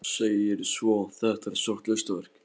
Segir svo: Þetta er stórt listaverk.